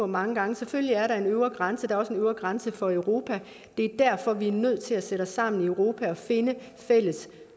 mange gange selvfølgelig er der en øvre grænse er også en øvre grænse for europa derfor er vi nødt til at sætte os sammen i europa og finde fælles